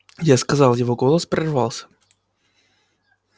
я сказал его голос прервался